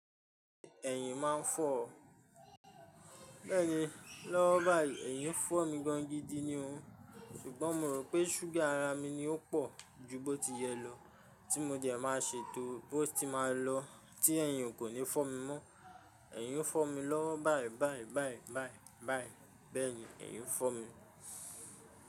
Ẹ̀yìn máa ń fọ̀ ọ́. Bẹ́ẹ̀ni, lọ́wọ́ báyìí ẹ̀yìn ń fọ́ mi gan gidi ni o. Ṣùgbọ́n mo rò pé ṣúgà ara mi ni ó pọ̀ ju bó ti yẹ lọ, tí mo dẹ̀ máa ṣe tó bó ti máa lọ tí ẹ̀yìn kò ní fọ́ mi mọ́. Ẹ̀yìn ń fọ́ mi lọ́wọ́ báyìí báyìí báyìí báyìí báyìí. Bẹ́ẹ̀ni, ẹ̀yìn ń fọ́ mi.